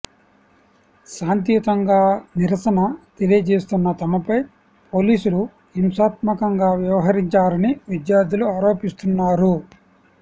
శాంతియుతంగా నిరసన తెలియజేస్తున్న తమపై పోలీసులు హింసాత్మకంగా వ్యవహరించారని విద్యార్థులు ఆరోపిస్తున్నారు